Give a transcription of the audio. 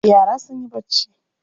Yara sun yi barci.